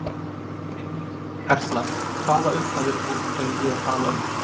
Erla: Hvaða upphæðir erum við þá að tala um?